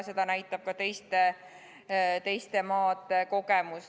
Seda näitab ka teiste teiste maade kogemus.